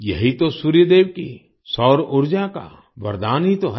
यही तो सूर्य देव की सौर ऊर्जा का वरदान ही तो है